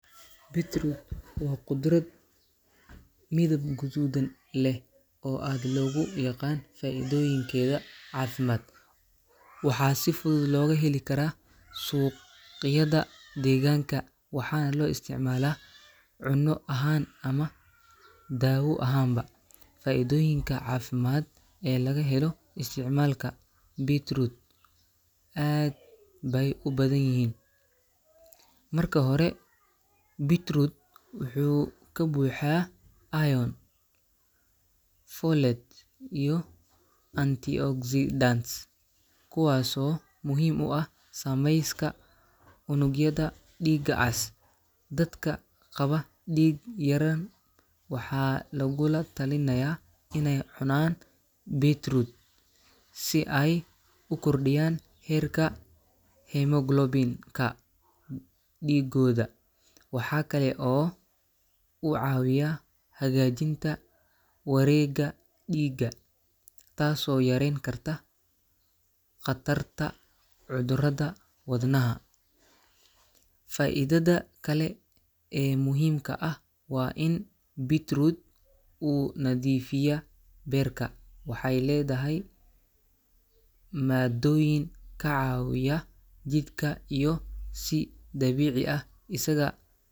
Beetroot waa khudrad midab guduudan leh oo aad loogu yaqaan faa’iidooyinkeeda caafimaad. Waxaa si fudud looga heli karaa suuqyada deegaanka waxaana loo isticmaalaa cunno ahaan ama daawo ahaanba. Faa’iidooyinka caafimaad ee laga helo isticmaalka Beetroot aad bay u badan yihiin. Marka hore, Beetroot wuxuu ka buuxaa iron, folate, iyo antioxidants kuwaasoo muhiim u ah samayska unugyada dhiigga cas. Dadka qaba dhiig-yara waxaa lagula talinayaa inay cunaan Beetroot si ay u kordhiyaan heerka hemoglobin-ka dhiiggooda. Waxa kale oo uu caawiyaa hagaajinta wareegga dhiigga, taasoo yareyn karta khatarta cudurrada wadnaha. Beetroot sidoo kale wuxuu hoos u dhigi karaa cadaadiska dhiigga, waana sababta ay takhaatiirtu ugu taliyaan in la isticmaalo si joogto ah. Waxa kale oo uu hagaajiyaa shaqada maskaxda iyo xasuusta, gaar ahaan dadka da’da ah, maadaama uu dhiig badan gaarsiiyo maskaxda. Faa’iidada kale ee muhiimka ah waa in Beetroot uu nadiifiyaa beerka. Waxay leedahay maaddooyin ka caawiya jidhka inuu si dabiici ah isaga.